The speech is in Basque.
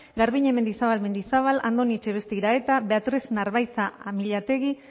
garbiñe mendizabal mendizabal andoni etxebeste iraeta beatriz narbaiza amillategi